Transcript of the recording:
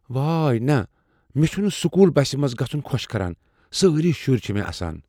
واے نہ! مےٚ چُھنہٕ سکول بسہِ منٛز گژھُن خۄش کران۔ سٲری شُرۍ چھ مےٚ اسان۔